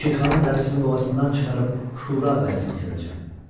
Şirxanın dərisini boğazından çıxarıb Şura qayasına sərəcəm.